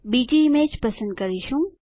બીજી ઈમેજ પસંદ કરીશું